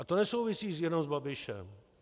A to nesouvisí jenom s Babišem.